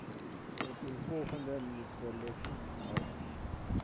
opeenvolgende meterlesings nadat